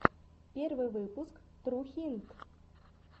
первый выпуск трухинт